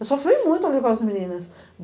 Eu sofri muito ali com as meninas.